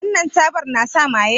Shin wannan tabar na sa maye?